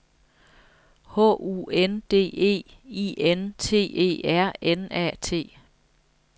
H U N D E I N T E R N A T